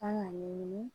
Kan ka ɲɛɲini